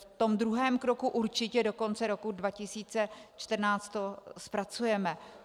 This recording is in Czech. V tom druhém kroku určitě do konce roku 2014 to zpracujeme.